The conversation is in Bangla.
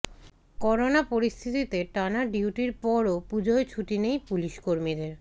করোনা পরিস্থিতিতে টানা ডিউটির পরও পুজোয় ছুটি নেই পুলিশকর্মীদের